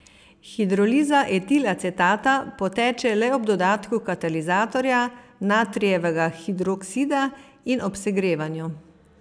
Hidroliza etilacetata poteče le ob dodatku katalizatorja, natrijevega hidroksida, in ob segrevanju.